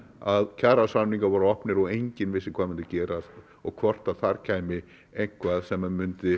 að kjarasamningar voru opnir og enginn vissi hvað mundi gerast og hvort þar kæmi eitthvað sem mundi